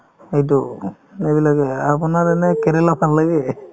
এইটো এইবিলাকে আপোনাৰ এনে কেৰেলা ভাল লাগে?